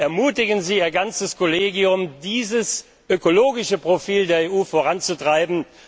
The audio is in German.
Ermutigen Sie Ihr ganzes Kollegium, dieses ökologische Profil der EU voranzutreiben.